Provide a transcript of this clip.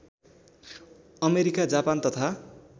America Japan तथा